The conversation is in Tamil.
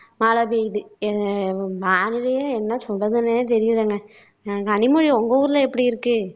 மழை பெய்யுது அஹ் என்ன சொல்றதுன்னே தெரியலைங்க கனிமொழி உங்க ஊர்ல எப்படி இருக்கு